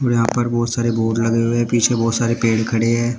यहां पर बहोत सारे बोर्ड लगे हुए पीछे बहुत सारे पेड़ खड़े हैं।